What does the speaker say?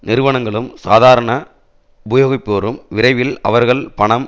நிறுவனங்களும் சாதாரண உபயோகிப்போரும் விரைவில் அவர்கள் பணம்